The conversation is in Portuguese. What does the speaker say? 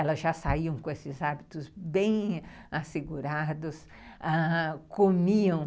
Elas já saíam com esses hábitos bem assegurados, ãh... comiam.